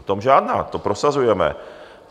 O tom žádná, to prosazujeme.